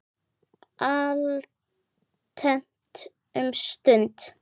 Alltént um stund.